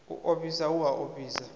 u ofhisa hu a ofhisa